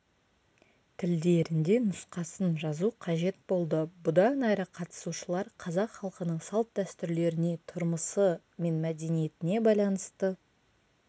тілдерінде нұсқасын жазу қажет болды бұдан әрі қатысушылар қазақ халқының салт-дәстүрлеріне тұрмысы мен мәдениетіне байланысты